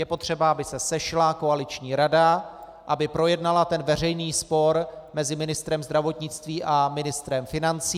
Je potřeba, aby se sešla koaliční rada, aby projednala ten veřejný spor mezi ministrem zdravotnictví a ministrem financí.